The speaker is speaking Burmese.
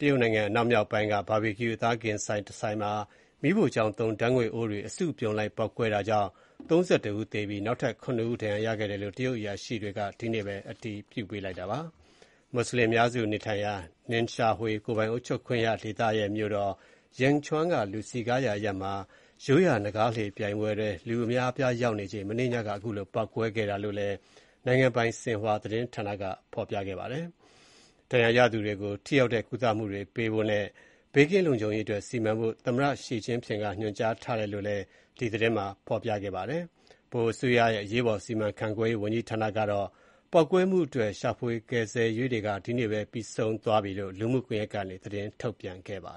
တရုတ်နိုင်ငံ အနောက်မြောက်ပိုင်း ဒေသက Barbecue အသားကင်ဆိုင်တဆိုင်မှာ မီးဖိုချောင်သုံးဓာတ်ငွေ့အိုးတွေ အစုလိုက် အပြုံလိုက် ပေါက်ကွဲရာက ၃၁ ဦးသေ၊ ၇ ဦး ဒဏ်ရာရခဲ့ကြောင်း အာဏာပိုင်တွေ ဒီကနေ့ပဲ အတည်ပြုပါတယ်။ မွတ်ဆလင်တွေ အများစုနေထိုင်ရာ Ningxia Hui ကိုယ်ပိုင်အုပ်ချုပ်ခွင့်ရဒေသရဲ့ မြို့တော်ဖြစ်တဲ့ Yinchuan က လူစည်ကားရာအရပ်မှာ ရိုးရာနင်္ဂါးလှေပြိုင်ပွဲအတွက် လူအများအပြား ရောက်နေချိန် မနေ့ညက ပေါက်ကွဲမှုဖြစ်ခဲ့တာလို့လည်း နိုင်ငံပိုင် ဆင်ဟွာသတင်းက ဖော်ပြခဲ့တာပါ။ ဒဏ်ရာရသူတွေကို ထိရောက်တဲ့ ကုသမှုတွေပေးဖို့နဲ့ ဘေးကင်းလုံခြုံရေးအတွက် စီမံဖို့ သမ္မတ ရှီကျင့်ဖျင့်က ညွှန်ကြားထားတယ်လို့လည်း သတင်းက ဖော်ပြပါတယ်။ ဗဟိုအစိုးရရဲ့ အရေးပေါ် စီမံခန့်ခွဲရေး ဝန်ကြီးဌာနကတော့ ပေါက်ကွဲမှုအတွက် ရှာဖွေကယ်ဆယ်ရေး လုပ်ငန်းတွေ ဒီကနေ့ပဲ ပြီးဆုံးသွားပြီဖြစ်ကြောင်း လူမှုကွန်ရက်ကနေ သတင်းထုတ်ပြန်ခဲ့တာပါ